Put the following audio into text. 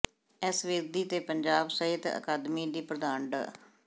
S Virdi ਤੇ ਪੰਜਾਬ ਸਾਹਿਤ ਅਕਾਦਮੀ ਦੀ ਪ੍ਰਧਾਨ ਡਾ